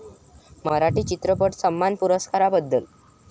मराठी चित्रपट सन्मान पुरस्काराबद्दल